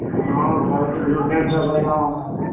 ହଁ ଭାଇ ଆମର group dance କରିବା ଆମର।